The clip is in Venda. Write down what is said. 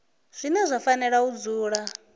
zwine zwa fanela u dzula